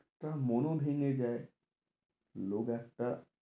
তার মোনও ভেঁঙ্গে যায় লোক একটা